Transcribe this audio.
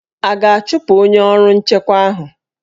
A ga-achụpụ onye ọrụ nchekwa ahụ?